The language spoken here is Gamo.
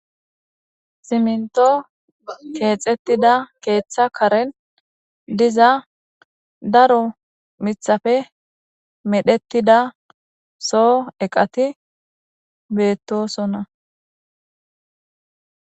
siminto keexettida keeththa karen diza daro mithafe medhettida soo eqati beettosona